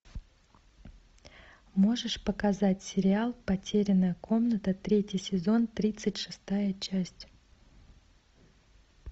можешь показать сериал потерянная комната третий сезон тридцать шестая часть